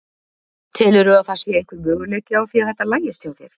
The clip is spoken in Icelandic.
Telurðu að það sé einhver möguleiki á því að þetta lagist hjá þér?